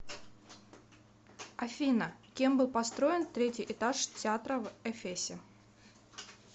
афина кем был построен третий этаж театра в эфесе